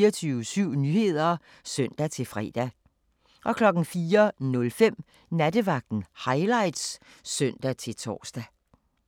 24syv Nyheder (søn-fre) 04:05: Nattevagten Highlights (søn-tor)